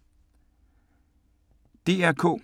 DR K